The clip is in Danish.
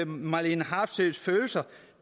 marlene harpsøes følelser